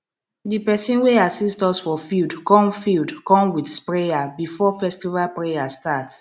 di person wey assist us for field come field come with sprayer before festival prayer start